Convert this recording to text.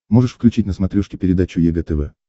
можешь включить на смотрешке передачу егэ тв